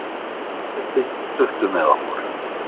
Úrslitin duttu með okkur.